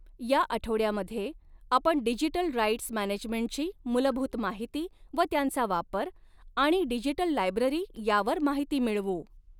या आठवड्यामधॆ आपण डिजिटल राइट्स मॅनेजमेंटची मूलभूत माहिती व त्यांचा वापर आणि डिजिटल लायब्ररी यावर माहिती मिळवू.